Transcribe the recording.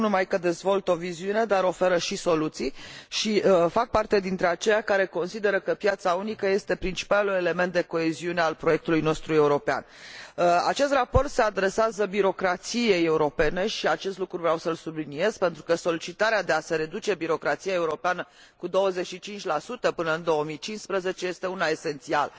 Nu numai că dezvoltă o viziune, dar oferă și soluții și fac parte dintre aceia care consideră că piața unică este principalul element de coeziune al proiectului nostru european. Acest raport se adresează birocrației europene și vreau să subliniez acest lucru, pentru că solicitarea de a se reduce birocrația europeană cu 25 până în 2015 este una esențială.